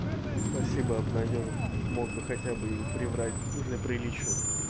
спасибо обнадёжил мог бы хотя бы и приврать для приличия